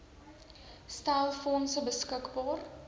stel fondse beskikbaar